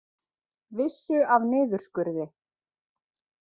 Vissu af niðurskurði